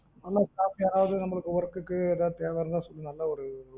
நல்லா staff யாராது நமக்கு work க்கு எதுவாது தேவை இருந்தா சொல்லு நல்லா ஒரு